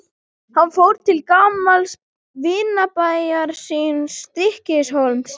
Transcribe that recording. Hann fór til gamals vinabæjar síns, Stykkishólms.